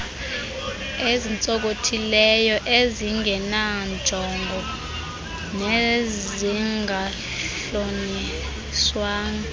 ezintsonkothileyo ezingenanjongo nezingahlolisiswanga